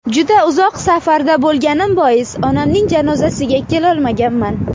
Juda uzoq safarda bo‘lganim bois, onamning janozasiga kelolmaganman.